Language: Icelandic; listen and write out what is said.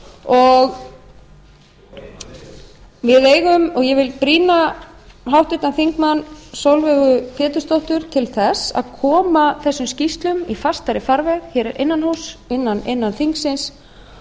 og við eigum og ég vil brýna háttvirtur þingmaður sólveigu pétursdóttur til þess að koma þessum skýrslum í fastari farveg hér innan húss innan þingsins